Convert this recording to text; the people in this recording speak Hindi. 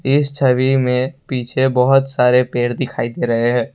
इस छवि में पीछे बहुत सारे पेड़ दिखाई दे रहे हैं।